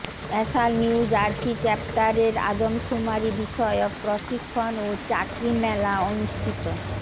আ্যসাল New Jersey chapter এর আদমশুমারী বিষয়ক প্রশিক্ষন ও চাকরি মেলা অনুষ্ঠিত